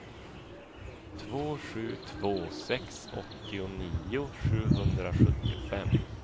två sju två sex åttionio sjuhundrasjuttiofem